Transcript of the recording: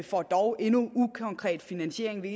for dog endnu ukonkret finansiering vi